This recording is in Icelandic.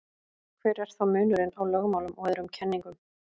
hver er þá munurinn á lögmálum og öðrum kenningum